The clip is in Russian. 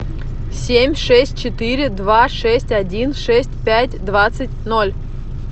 семь шесть четыре два шесть один шесть пять двадцать ноль